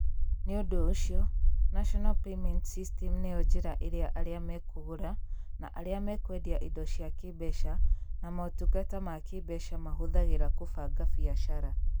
Nĩ ũndũ ũcio, National Payments System nĩyo njĩra ĩrĩa arĩa megũgũra na arĩa mekũendia indo cia kĩĩmbeca na motungata ma kĩĩmbeca mahũthagĩra kũbanga biacara.